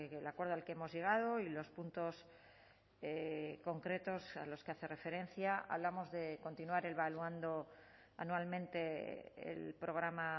el acuerdo al que hemos llegado y los puntos concretos a los que hace referencia hablamos de continuar evaluando anualmente el programa